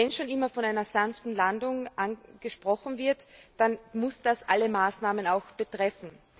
Wenn schon immer von einer sanften Landung gesprochen wird, dann muss das alle Maßnahmen betreffen.